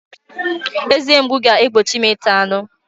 Eze mgbu ga-egbochi m ịta anụ.